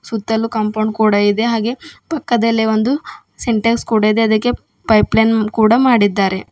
ಸುತ್ತಲೂ ಕಾಂಪೌಂಡ್ ಕೂಡ ಇದೆ ಹಾಗೆ ಪಕ್ಕದಲ್ಲೇ ಒಂದು ಸಿಂಟೆಕ್ಸ್ ಕೂಡ ಇದೆ ಅದಕ್ಕೆ ಪೈಪ್ ಲೈನ್ ಕೂಡ ಮಾಡಿದ್ದಾರೆ.